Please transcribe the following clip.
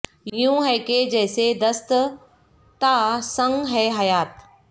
یوں ہے کہ جیسے دست تہ سنگ ہے حیات